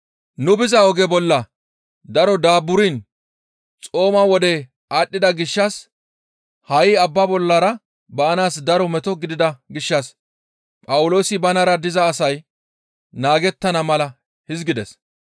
Nu biza oge bolla daro daaburan xooma wodey aadhdhida gishshas ha7i abba bollara baanaas daro meto gidida gishshas Phawuloosi banara diza asay naagettana mala hizgides;